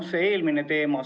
Kõigepealt eelmisest teemast.